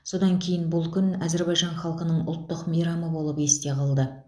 содан кейін бұл күн әзербайжан халқының ұлттық мейрамы болып есте қалды